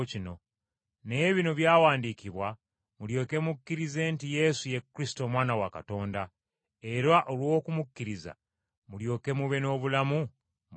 Naye bino byawandiikibwa mulyoke mukkirize nti Yesu ye Kristo Omwana wa Katonda era olw’okumukkiriza mulyoke mube n’obulamu mu linnya lye.